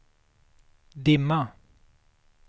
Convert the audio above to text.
dimma